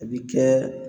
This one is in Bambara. A bi kɛ